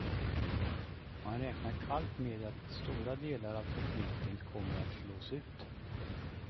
Man räknar kallt med att stora delar av tekniken kommer att slås ut.